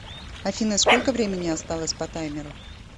афина сколько времени осталось по таймеру